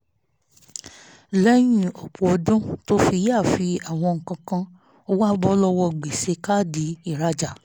lẹ́yìn ọ̀pọ̀ ọdún tó fi yááfì àwọn nǹkan kan ó wá bọ́ lọ́wọ́ gbèsè káàdì ìrajà